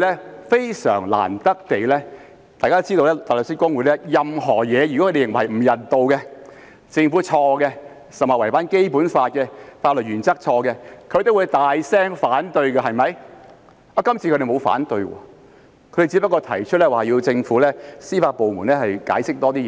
而非常難得地，大律師公會——大家皆知道，對於任何不人道的事情，以及政府犯錯或違反《基本法》或法律原則等情況，大律師公會皆會大聲反對——這次沒有提出反對，只是要求政府的司法部門更詳細解釋。